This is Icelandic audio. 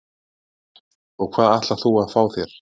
Hödd: Og hvað ætlar þú að fá þér?